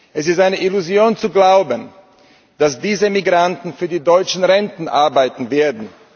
Es ist eine Illusion zu glauben, dass diese Migranten für die deutschen Renten arbeiten werden.